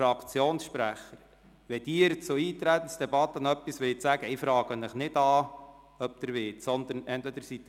Wenn die Fraktionssprecher etwas zur Eintretensdebatte sagen wollen, müssen sie jeweils den Knopf drücken.